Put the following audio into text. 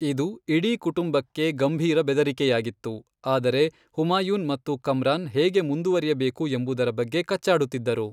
ಇದು ಇಡೀ ಕುಟುಂಬಕ್ಕೆ ಗಂಭೀರ ಬೆದರಿಕೆಯಾಗಿತ್ತು, ಆದರೆ ಹುಮಾಯೂನ್ ಮತ್ತು ಕಮ್ರಾನ್ ಹೇಗೆ ಮುಂದುವರಿಯಬೇಕು ಎಂಬುದರ ಬಗ್ಗೆ ಕಚ್ಚಾಡುತ್ತಿದ್ದರು.